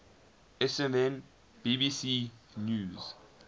sfn bbc news